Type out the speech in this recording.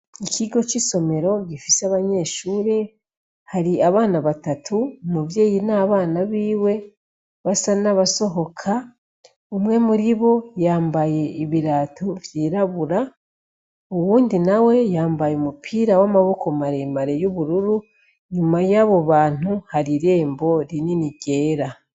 Ikigo c'isomero gifise abanyeshure, hari abana batatu umuvyeyi n'abana biwe basa n'abasohoka, umwe muri bo yambaye ibirato vyirabura, uwundi nawe yambaye umupira w'amaboko maremare y'ubururu, inyuma y'abo bantu hari irembo rinini ryera.